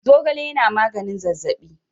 Zogale yana maganin zazzaɓi.